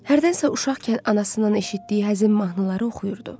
Hərdənsə uşaqkən anasından eşitdiyi həzin mahnıları oxuyurdu.